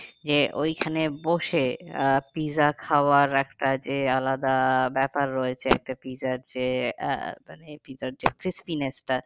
যে ওইখানে বসে আহ পিৎজা খাওয়ার একটা যে আলাদা ব্যাপার রয়েছে একটা পিৎজার যে আহ মানে পিৎজার crispiness টা